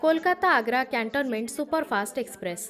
Kolkata Agra cantonment superfast express